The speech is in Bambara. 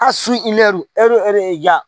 A ja